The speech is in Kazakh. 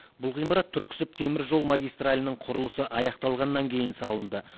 бұл ғимарат түрксіб теміржол магистралінің құрылысы аяқталғаннан кейін салынды